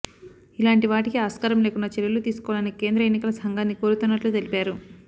ఇలాంటి వాటికి ఆస్కారం లేకుండా చర్యలు తీసుకోవాలని కేంద్ర ఎన్నికల సంఘాన్ని కోరుతున్నట్లు తెలిపారు